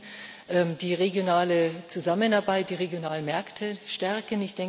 Erstens die regionale Zusammenarbeit die regionalen Märkte stärken.